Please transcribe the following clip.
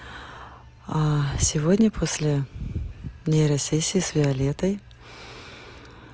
а сегодня после нейро сессии с виолеттой